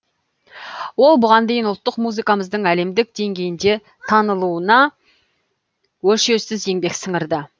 ол бұған дейін ұлттық музыкамыздың әлемдік деңгейде танылуына өлшеусіз еңбек сіңірді